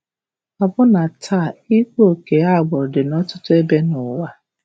Ọbụna taa, ịkpa ókè agbụrụ dị nọtụtụ ebe nụwa.